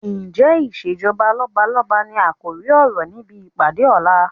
Ǹjẹ́ ìsèjọba lọ́balọ́ba ni àkòrí ọ̀rọ̀ níbi ìpàdé ọ̀la?